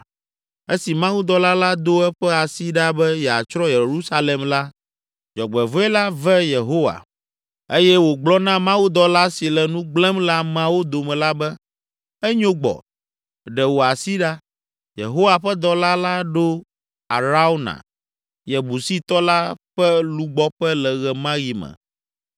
Esi mawudɔla la do eƒe asi ɖa be yeatsrɔ̃ Yerusalem la, dzɔgbevɔ̃e la ve Yehowa eye wògblɔ na mawudɔla si le nu gblẽm le ameawo dome la be, “Enyo gbɔ! Ɖe wò asi ɖa.” Yehowa ƒe dɔla la ɖo Arauna, Yebusitɔ la ƒe lugbɔƒe le ɣe ma ɣi me.